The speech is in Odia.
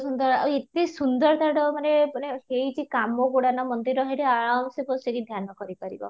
ସୁନ୍ଦର ଆଉ ଏତେ ସୁନ୍ଦର ତା'ର ମାନେ ମାନେ ହେଇଛି କାମ ଗୁଡା ନା ମନ୍ଦିରର ସେଠି ଆରମ୍ଭ ସେ ବସି କି ଧ୍ୟାନ କରି ପାରିବ